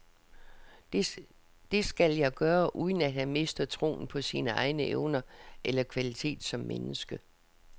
Det skal jeg gøre, uden at han mister troen på sine egne evner eller kvalitet som menneske.